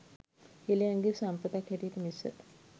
හෙළයන්ගේ සම්පතක් හැටියට මිස